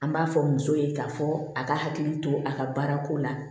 An b'a fɔ muso ye k'a fɔ a ka hakili to a ka baara ko la